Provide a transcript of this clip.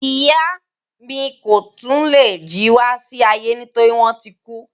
Ìyá mi ko tun lè jí wá sí ayé nitori wọn ti kú.